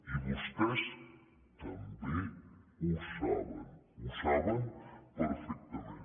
i vostès també ho saben ho saben perfectament